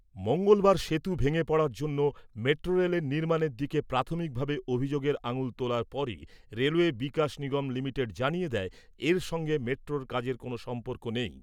মঙ্গলবার সেতু ভেঙে পড়ার জন্য মেট্রোরেলের নির্মাণের দিকে প্রাথমিকভাবে অভিযোগের আঙুল তোলার পরই রেলওয়ে বিকাশ নিগম লিমিটেড জানিয়ে দেয়, এর সঙ্গে মেট্রোর কাজের কোনো সম্পর্ক নেই।